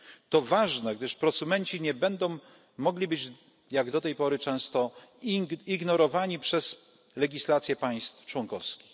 To ważne, gdyż prosumenci nie będą mogli być, jak do tej pory często, ignorowani przez legislację państw członkowskich.